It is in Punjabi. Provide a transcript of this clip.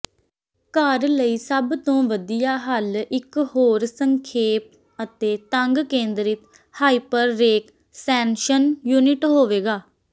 ਘਰ ਲਈ ਸਭ ਤੋਂ ਵਧੀਆ ਹੱਲ ਇੱਕ ਹੋਰ ਸੰਖੇਪ ਅਤੇ ਤੰਗ ਕੇਂਦਰਿਤ ਹਾਈਪਰਰੇਕਸੈਨਸ਼ਨ ਯੂਨਿਟ ਹੋਵੇਗਾ